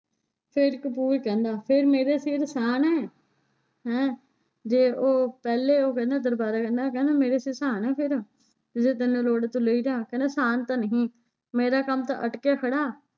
ਫਿਰ ਕਪੂਰ ਕਹਿੰਦਾ ਫਿਰ ਮੇਰੇ ਸਿਰ ਸਾਨ ਹੈ ਹੈਂ ਜੇ ਉਹ ਪਹਿਲੇ ਉਹ ਕਹਿੰਦਾ ਦਰਬਾਰਾ ਕਹਿੰਦਾ ਕਹਿੰਦਾ ਮੇਰੇ ਸਿਰ ਸਾਨ ਹੈ ਫਿਰ ਤੇ ਜੇ ਤੈਨੂੰ ਲੋੜ ਏ ਤੂੰ ਲੇ ਜਾ ਕਹਿੰਦਾ ਸਾਨ ਤਾਂਂ ਨਹੀਂ ਮੇਰਾ ਕੰਮ ਤਾਂ ਅਟਕਿਆ ਖੜਾ